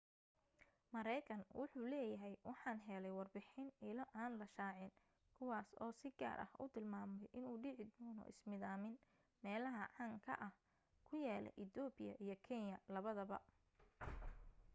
mareekan wuxuu leeyahay waxaan helay warbixin ilo aan la shaacin kuwaas oo si gaar u tilmaamay inuu dhici doona ismidaamin meelaha caan ka ah ku yaala ethopia iyo kenya labada